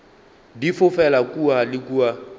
di fofela kua le kua